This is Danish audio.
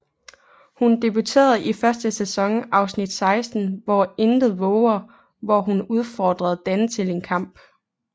Hun debuterer i første sæsons afsnit 16 Hvo intet vover hvor hun udfordrer Dan til en kamp